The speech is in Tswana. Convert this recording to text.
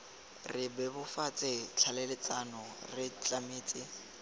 re bebofatse tlhaeletsano re tlametse